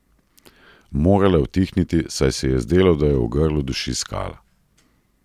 Morala je utihniti, saj se ji je zdelo, da jo v grlu duši skala.